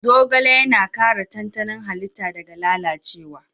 Zogale yana kare tantanin halitta daga lalacewa